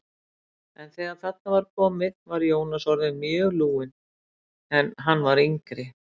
En þegar þarna var komið var Jónas orðinn mjög lúinn, en hann var yngri.